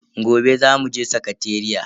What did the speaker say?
Gobe zamu je sakateriya.